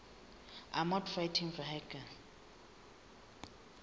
armoured fighting vehicles